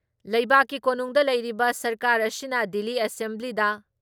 ꯂꯩꯕꯥꯛꯀꯤ ꯀꯣꯅꯨꯡꯗ ꯂꯩꯔꯤꯕ ꯁꯔꯀꯥꯔ ꯑꯁꯤꯅ ꯗꯤꯜꯂꯤ ꯑꯦꯁꯦꯝꯕ꯭ꯂꯤꯗ